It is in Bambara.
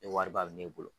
Ni wariba bɛ ne bolo